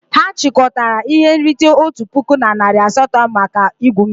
Ha chịkọtara ihe nrite otu puku na narị asatọ maka igwu mmiri.